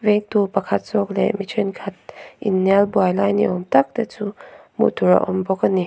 mektu pakhat zawk leh mi thenkhat inhnial buai lai ni awm tak te chu hmuh tur a awm bawk ani.